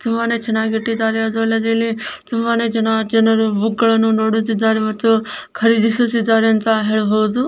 ತುಂಬಾನೇ ಚೆನ್ನಗಿ ಇಟ್ಟಿದಾರೆ ಅದ್ರಲ್ಲಿ ಅದರಲ್ಲಿ ತುಂಬಾನೇ ಚೆನ್ನಗಿ ಜನರು ಬುಕುಗಳನ್ನು ನೋಡುತ್ತಿದಾರೆ ಮತ್ತು ಖರೀದಿಸುತ್ತಿದಾರೆ ಅಂತ ಹೇಳಬಹುದು.